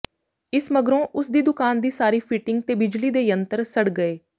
ਇਸ ਮਗਰੋਂ ਉਸ ਦੀ ਦੁਕਾਨ ਦੀ ਸਾਰੀ ਫਿਟਿੰਗ ਤੇ ਬਿਜਲੀ ਦੇ ਯੰਤਰ ਸੜ ਗਏ